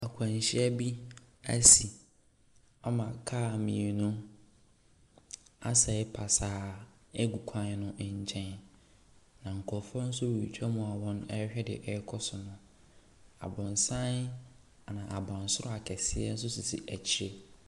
Akwanhyia bi ɛsi ama kaa mmienu aseɛ pasaa egu kwan no nkyɛn na nkorɔfoɔ nso retwa mu a ɔrehwɛ nea ɛrekɔ so no. Aboronsan na abansoro akɛseɛ nso sisi ɛkyi.